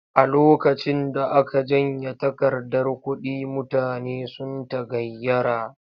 A lokacin da aka janye takardar kuɗi mutane sun tagayyara.